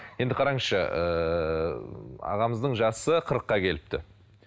енді қараңызшы ыыы ағамыздың жасы қырыққа келіпті